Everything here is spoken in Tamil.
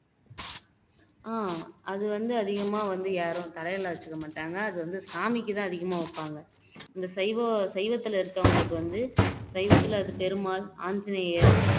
ஆஹ் அது வந்து யாரும் வந்து தலையில வச்சுக்க மாட்டாங்க அது வந்து சாமிக்கு தான் அதிகமா வைப்பாங்க இந்த சைவம் சைவத்துல இருக்கவங்களுக்கு வந்து சைவத்துல அது பெருமாள் ஆஞ்சநேயர்